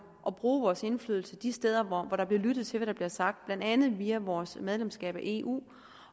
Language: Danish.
at bruge vores indflydelse de steder hvor der bliver lyttet til hvad der bliver sagt blandt andet via vores medlemskab af eu